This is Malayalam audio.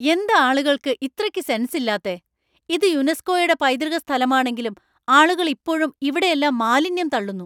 എന്താ ആളുകൾക്കു ഇത്രയ്ക്ക് സെൻസ് ഇല്ലാത്തെ ? ഇത് യുനെസ്കോയുടെ പൈതൃക സ്ഥലമാണെങ്കിലും ആളുകൾ ഇപ്പോഴും ഇവിടെയെല്ലാം മാലിന്യം തള്ളുന്നു.